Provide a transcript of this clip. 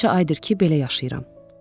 Bir neçə aydır ki, belə yaşayıram.